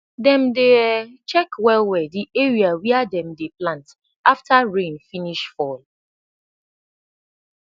dem dey um check welwel de area wia dem dey plant afta rain finish fall